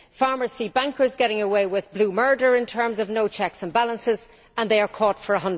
Farmers see bankers getting away with blue murder in terms of no checks and balances, while they are caught for EUR